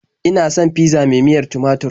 Ina son fizza mai miyar tumatur.